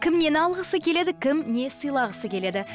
кімнен алғысы келеді кім не сыйлағысы келеді